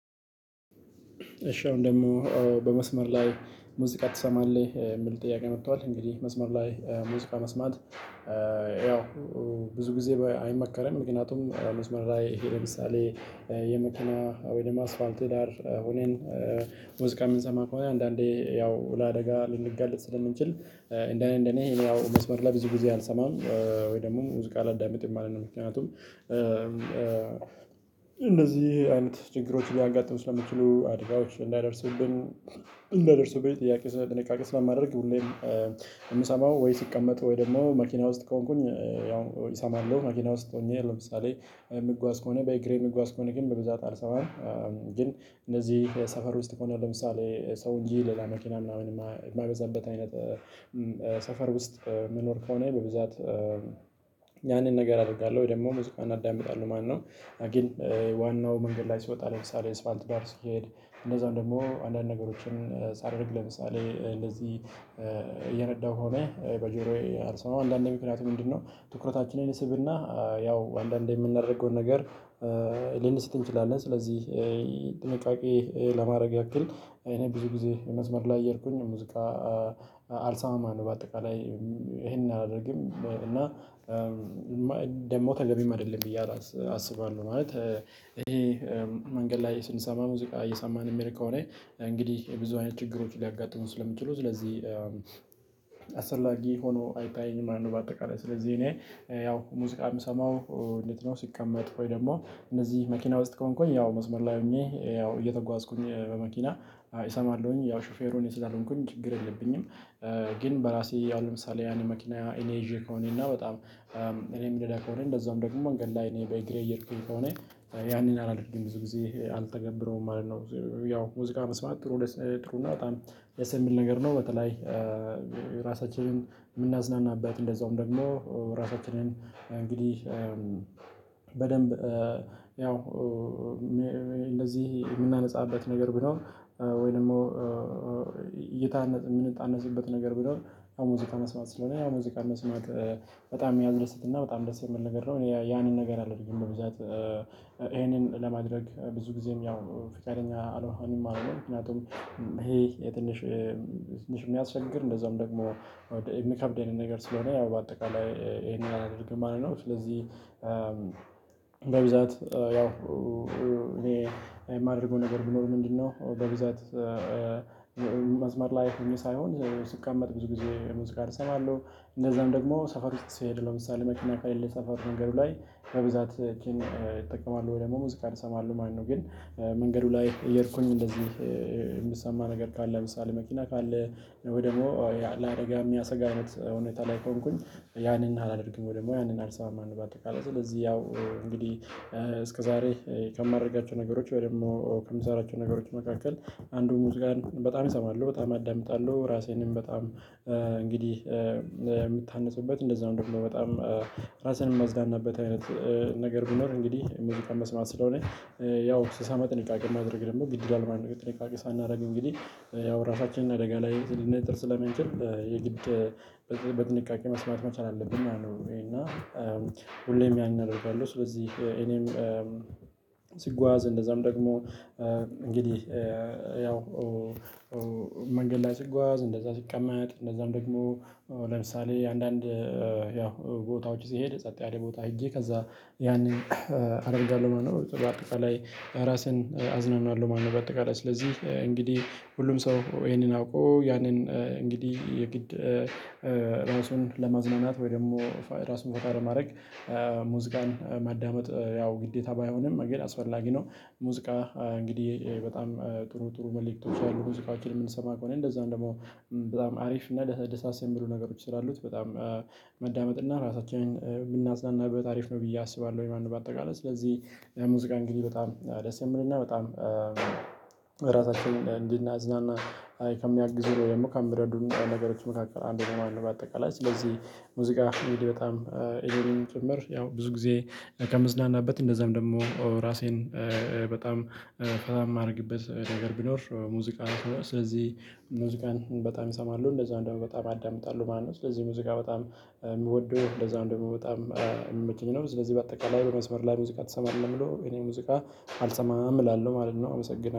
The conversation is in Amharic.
እሺ አሁን ደግሞ በመስመር ላይ ሙዚቃ ትሰማለህ? ሚል ጥያቄ መጥቷል። እንግዲህ መስመር ላይ ሙዚቃ መስማት ያው ብዙ ጊዜ አይመከረም። ምክንያቱም መስመር ላይ ይሄ ለምሳሌ የመኪና ወይም አስፋልት ዳር ሆነን ሙዚቃ ምንሰማ ከሆነ አንዳንዴ ያው ለአደጋ ልንጋለጥ ስለምንችል። እንደኔ እንደኔ ያው መስመር ላይ ብዙ ጊዜ አልሰማም ወይ ደግሞ ውዝቅ አላዳምጥም ማለት ነው። ምክንያቱም እነዚህ አይነት ችግሮች ሊያጋጥሙ ስለሚችሉ አደጋዎች። እንዳይደርሱብን ጥያቄ ስ ጥንቃቄ ስለማደረግ ሁሌም የምሰማው ወይ ስቀመጥ ወይ ደግሞ መኪና ውስጥ ከሆንኩኝ ያው እሰማለሁ። መኪና ውስጥ ሆኜ ለምሳሌ ምጓዝ ከሆነ በእግሬን ምጓዝ ከሆነ ግን በብዛት አልሰማም። ግን እነዚህ ሰፈር ውስጥ ከሆነ ለምሳሌ ሰው እንጂ ሌላ መኪና ምናምን ማይበዛበት አይነት ሰፈር ውስጥ ምኖር ከሆነ በብዛት ያንን ነገር አደርጋለሁ ወይ ደግሞ ሙዚቃን አዳምጣለሁ ማለት ነው። ግን ዋናው መንገድ ላይ ስወጣ ለምሳሌ እስፋልት ዳር ስሄድ እነዛን ደግሞ አንዳንድ ነገሮችን ሳደርግ ለምሳሌ እንደዚህ እየነዳሁ ከሆነ በጆሮዬ አልሰማም አንዳንዴ ምክንያቱም ምንድነው ትኩረታችንን ይስብና ያው አንዳንዴ ምናደርገውን ነገር ልንስት እንችላለን። ስለዚህ ጥንቃቄ ለማድረግ ያክል እኔ ብዙ ጊዜ መስመር ላይ እየሄድኩኝ ሙዚቃ አልሰማማ ማለት ነው በአጠቃላይ ይሄንን አላደርግም። እና ደግሞ ተገቢም አይደለም ብዬ አላስ አስባለሁ ማለት ይሄ መንገድ ላይ ስንሰማ ሙዚቃ እየሰማን ምንሄድ ከሆነ እንግዲህ ብዙ አይነት ችግሮች ሊያጋጥሙን ስለሚችሉ ስለዚህ አስፈላጊ ሆኖ አይታየኝም ማለት ነው። በአጠቃላይ ስለዚህ እኔ ያው ሙዚቃ ምሰማው እንዴት ነው ስቀመጥ ወይ ደግሞ እንደዚህ መኪና ውስጥ ከሆንኩኝ ያው መስመር ላይ ሆኜ ያው እየተጓዝኩኝ በመኪና እሰማለሁኝ ያው ሹፌሩ ስላልሆንኩኝ ችግር የለብኝም። ግን በራሴ አሁን ለምሳሌ ያን መኪና እኔ ይዤ ከሆነና በጣም እኔ ምነዳ ከሆነ እንደዛም ደግሞ መንገድ ላይ እኔ በእግሬ እየሄድኩኝ ከሆነ ያንን አላደርግም ብዙ ጊዜ አልተገብረውም ማለት ነው። ያው ሙዚቃ መስማት ጥሩ ጥሩ እና በጣም ደሰ የሚል ነገር ነው። በተለይ ራሳችንን ምናዝናናበት እንደዛም ደግሞ ራሳችንን እንግዲህ በደንብ ያው እንደዚህ የምናነጻበት ነገር ቢኖር ወይ ደግሞ እየታነጽ ምንታነጽበት ነገር ቢኖር ሙዚቃ መስማት ስለሆነ ያው ሙዚቃ መስማት በጣም ሚያስደስት እና በጣም ደስ የሚል ነገር ነው። ያንን ነገር አይደለም ብዛት ይሄንን ለማድረግ ብዙ ጊዜም ያው ፍቃደኛ አልሆንም። ምክንያቱም ይሄ ትንሽ ትንሽ ሚያስቸግር እንደዚያውም ደግሞ የሚከብድ አይነት ነገር ስለሆነ ያው በአጠቃላይ ይሄንን አላደርግም ማለት ነው። ስለዚህ በብዛት ያው እኔ የማደርገው ነገር ቢኖር ምንድነው? በብዛት መስመር ላይ ሆኜ ሳይሆን ስቀመጥ ብዙ ጊዜ ሙዚቃን እሰማለሁ። እንደዛም ደግሞ ሰፈር ውስጥ ስሄድ ለምሳሌ መኪና ከለሌ ሰፈር መንገዱ ላይ በብዛት ኪን እጠቀማለሁ ወይ ደግሞ ሙዚቃን ይሰማለሁ ማለት ነው። ግን መንገዱ ላይ እየሄድኩኝ እንደዚህ የሚሰማህ ነገር ካለ ለምሳሌ መኪና ካለ ወይ ደግሞ ለአደጋ ሚያሰጋ አይነት ሁኔታ ላይ ከሆንኩኝ ያንን አላደርግም ወይ ደግሞ ያንን አልሰማም ማለት ነው። በአጠቃላይ ስለዚህ ያው እንግዲህ እስከዛሬ ከማደርጋቸው ነገሮች ወይም ደግሞ ከምሰራቸው ነገሮች መካከል አንዱ ሙዚቃን በጣም እሰማለሁ። በጣም አዳምጣለሁ ራሴንም በጣም እንግዲህ የምታነፅበት እንደዛው ደግሞ በጣም ራስን ማዝናናበት አይነት ነገር ቢኖር እንግዲህ ሙዚቃ መስማት ስለሆነ ያው ስሰማ ጥንቃቄ ማድረግ ደግሞ ግድ ይላል ማለት ነው። ጥንቃቄ ሳናደርግ እንግዲህ ያው ራሳችንን አደጋ ላይ ልንጥል ስለምንችል የግድ በጥንቃቄ መስማት መቻል አለብን ማለት ነው። እና ሁሌም ያን አደርጋለሁ። ስለዚህ እኔም ስጓዝ እንደዛም ደግሞ እንግዲህ ያው መንገድ ላይ ስጓዝ እንደዛ ስቀመጥ እንደዛም ደግሞ ለምሳሌ አንዳንድ ያው ቦታዎች ሲሄድ ጸጥ ያለ ቦታ ሄጄ ከዛ ያንን አደርጋለሁ ማለት ነው። በአጠቃላይ ራሴን አዝናናለሁ ማለት ነው። በአጠቃላይ ስለዚህ እንግዲህ ሁሉም ሰው ይሄንን አውቆ ያንን እንግዲህ የግድ ራሱን ለማዝናናት ወይ ደግሞ ራሱን ፈታ ለማድረግ ሙዚቃን ማዳመጥ ያው ግዴታ ባይሆንም እንግዲህ አስፈላጊ ነው። ሙዚቃ እንግዲህ በጣም ጥሩ ጥሩ መልእክቶች አሉ ሙዚቃወችን ምንሰማ ከሆነ እንደዛም ደግሞ በጣም አሪፍ እና ደሳስ የሚሉ ነገሮች ስላሉት በጣም ማዳመጥ እና ራሳችንን ብናፅናናበት አሪፍ ነው ብዬ አስባለሁ ማለት ነው። በአጠቃላይ ስለዚህ ሙዚቃ እንግዲህ በጣም ደስ የሚልና በጣም ራሳችንን እንድናዝናና ከሚያግዙን ወይ ደግሞ ከሚረዱን ነገሮች መካከል አንዱ ነው ማለት ነው። በአጠቃላይ ስለዚህ ሙዚቃ እንግዲህ በጣም እኔንም ጭምር ያው ብዙ ጊዜ ከምዝናናበትም እንደዛም ደግሞ ራሴን በጣም ፈታ ማድረግበት ነገር ቢኖር ሙዚቃ ስለዚህ ሙዚቃን በጣም እሰማለሁ። እንደዛው ደሞ በጣም አዳምጣለሁ ማለት ነው። ስለዚህ ሙዚቃ በጣም ምወደው እንደዛም ደሞ በጣም ሚመቸኝ ነው። ስለዚህ በአጠቃላይ በመስመር ላይ ሙዚቃ ትሰማለህ? ለሚለው እኔ ሙዚቃ አልሰማም እላለሁ ማለት ነው። አመሰግናለሁ